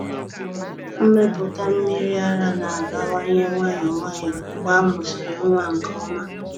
Mmepụta mmiri ara na-abawanye nwayọọ nwayọọ mgbe a mụsịrị nwa nke ọma.